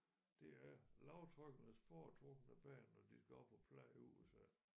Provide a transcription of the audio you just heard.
Det er lavtrykkenes foretrukne bane når de skal op og plage USA